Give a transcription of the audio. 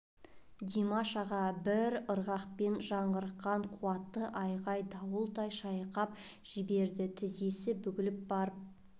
димаш аға бір ырғақпен жаңғырыққан қуатты айғай дауылдай шайқап жіберді тізесі бүгіліп барып